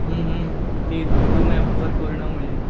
हुं हुं तीच झूम ऍपवर कोरोनामुळे.